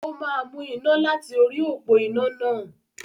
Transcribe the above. Ó máa mú iná láti orí òpó iná náà.